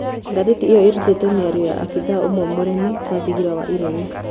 Ngathĩ ti ĩ yo ĩ rutĩ te mĩ ario ya abithaa ũmwe mũremi wa thingira wa iregi.